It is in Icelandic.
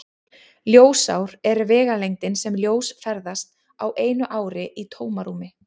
Ljósár er vegalengdin sem ljós ferðast á einu ári í tómarúmi.